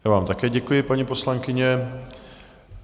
Já vám také děkuji, paní poslankyně.